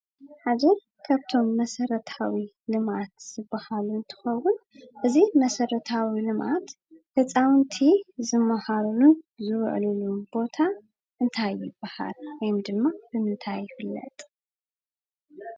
ሓደ ካብቶም መሰረታዊ ልምዓት ዝበሃሉ እንትኸውን እዚ መሰረታዊ ልምዓት ህፃውቲ ዝመሃሩሉን ዝውዕሉሉን ቦታ እንታይ ይበሃል? ወይ ድማ ብምፍታይ ይፍለጥ?